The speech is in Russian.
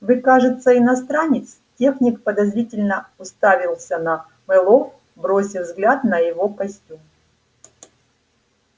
вы кажется иностранец техник подозрительно уставился на мэллоу бросив взгляд на его костюм